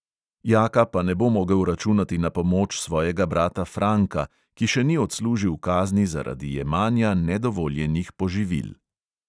Jaka pa ne bo mogel računati na pomoč svojega brata franka, ki še ni odslužil kazni zaradi jemanja nedovoljenih poživil.